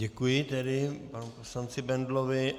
Děkuji tedy panu poslanci Bendlovi.